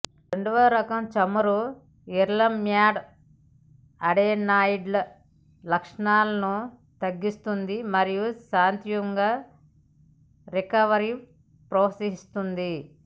రెండవ రకం చమురు ఎర్లెమ్యాడ్ అడెనాయిడ్ల లక్షణాలను తగ్గిస్తుంది మరియు శాంతముగా రికవరీ ప్రోత్సహిస్తుంది